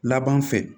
Laban fɛ